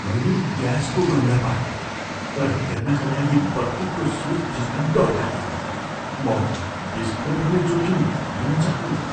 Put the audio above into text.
मैले ग्यासको गन्ध पाएँ र हेर्नका लागि बत्तीको स्विच थिच्न डर लाग्यो। म विस्फोट हुने जोखिम लिन चाहन्न।